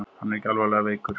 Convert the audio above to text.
Hann er ekki alvarlega veikur